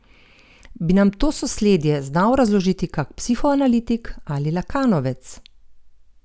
Bi nam to sosledje znal razložiti kak psihoanalitik ali lakanovec?